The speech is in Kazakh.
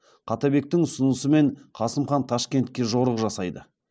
қаттабектің ұсынысымен қасым хан ташкентке жорық жасайды